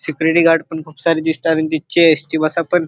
Security guard पण खुप सारे दिसतात आणि तिथचे एस.टी. बसा पण --